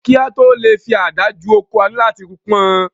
Kí a tó lè fi ada ju oko, a ní lò láti pọn